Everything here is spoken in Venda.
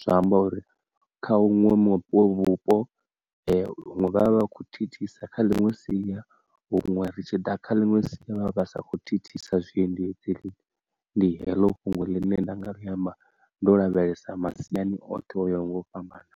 zwa amba uri kha huṅwe mupo vhupo ee hune vha vha vha kho thithisa kha ḽiṅwe sia huṅwe ri tshi ḓa kha ḽiṅwe sia vha vha sa kho thithisa zwiendedzi ndi heḽo fhungo ḽine nda nga amba ndo lavhelesa masiani oṱhe oyo nga u fhambana.